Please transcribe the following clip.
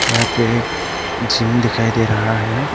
यहां पे एक जिम दिखाई दे रहा है।